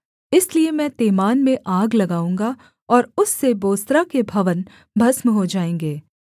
इसलिए मैं तेमान में आग लगाऊँगा और उससे बोस्रा के भवन भस्म हो जाएँगे